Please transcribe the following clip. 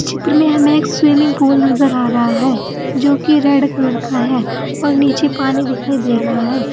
चित्र में हमे एक स्विमिंग पूल नजर आ रहा है जो कि रेड कलर का है और नीचे पानी दिखाई दे रहा है।